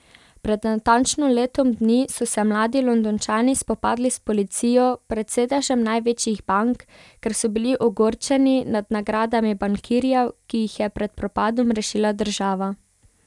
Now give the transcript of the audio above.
Pred natančno letom dni so se mladi Londončani spopadli s policijo pred sedežem največjih bank, ker so bili ogorčeni nad nagradami bankirjev, ki jih je pred propadom rešila država.